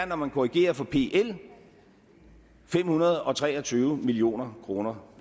når man korrigerer for pl er fem hundrede og tre og tyve million kroner